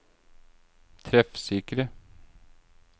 treffsikre